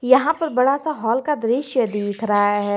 यहां पर बड़ा सा हॉल का दृश्य दिख रहा है।